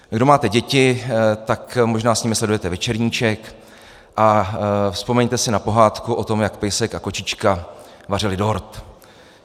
Kdo máte děti, tak možná s nimi sledujete Večerníček a vzpomeňte si na pohádku o tom, jak pejsek a kočička vařili dort.